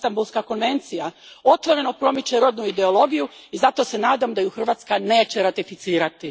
Istanbulska konvencija, otvoreno promiče rodnu ideologiju i zato se nadam da je Hrvatska neće ratificirati.